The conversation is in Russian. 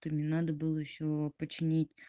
ты мне надо было ещё починить